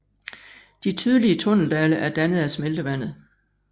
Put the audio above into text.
De tydelige tunneldale er dannet af smeltevandet